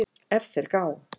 ef þeir gá